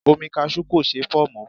Omi kasú kò ṣeé fọ̀ mọ́.